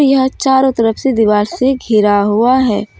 यह चारों तरफ से दीवार से गिरा हुआ है।